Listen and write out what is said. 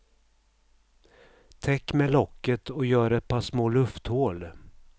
Täck med locket och gör ett par små lufthål.